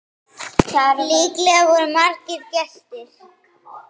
Líklega voru margir gestir.